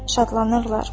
Şadlanırlar.